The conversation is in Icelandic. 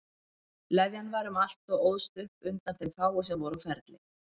Leðjan var um allt og óðst upp undan þeim fáu sem voru á ferli.